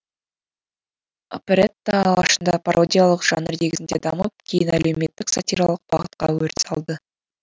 оперетта алғашында пародиялық жанр негізінде дамып кейін әлеуметтік сатиралық бағытта өріс алды